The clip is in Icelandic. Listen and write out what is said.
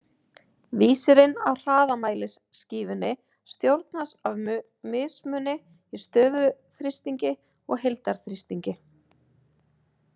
Vísirinn á hraðamælisskífunni stjórnast af mismuni á stöðuþrýstingi og heildarþrýstingi.